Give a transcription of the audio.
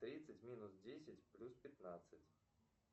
тридцать минус десять плюс пятнадцать